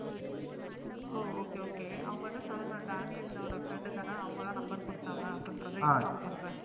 ஓ Okay okay அவங்கள்ட சொல்ற டேனியல்யோட Friend தன அவங்க தான் Number கொடுத்தாங்க Inform பண்ற